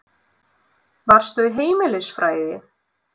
Varstu í heimilisfræði?